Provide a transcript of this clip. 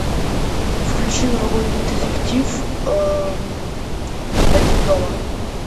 включи новогодний детектив один дома